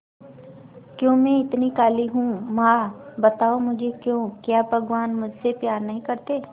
क्यों मैं इतनी काली हूं मां बताओ मुझे क्यों क्या भगवान मुझसे प्यार नहीं करते